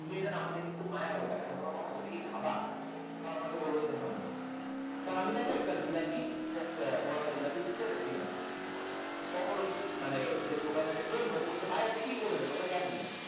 মেয়েটা না আমার দিকে খুব মায়া ভাবে তাকালো মামনি তুমি কি খাবা? ও আমাকে বললো হম তখন আমি তাকে একটা জিলাপি বড় একটা জিলাপি দিচ্ছি একটা সিঙ্গারা দিচ্ছি তুমি খাও তখন ওই মানে যে দোকানে যে ভাই আপনি কি করলেন এটা ওরে কেন দিলেন